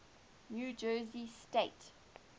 new jersey state